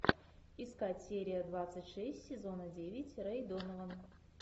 искать серия двадцать шесть сезона девять рэй донован